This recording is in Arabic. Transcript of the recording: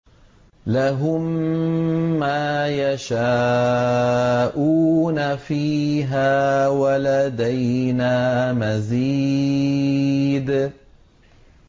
لَهُم مَّا يَشَاءُونَ فِيهَا وَلَدَيْنَا مَزِيدٌ